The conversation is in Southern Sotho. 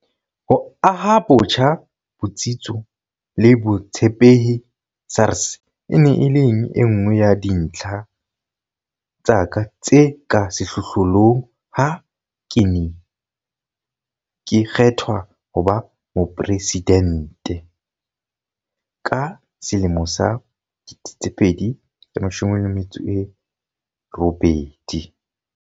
Ho aha botjha botsitso le botshepehi SARS e ne e leng e nngwe ya dintlha tsa ka tse ka sehlohlolong ha ke ne ke kgethwa ho ba Mopresidente ka 2018.